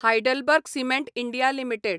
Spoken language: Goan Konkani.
HeidelbergCement India limited